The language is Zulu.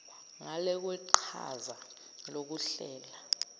ngale kweqhaza lokuhlela